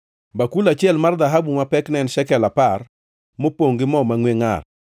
bakul achiel mar dhahabu ma pekne en shekel apar, mopongʼ gi mo mangʼwe ngʼar;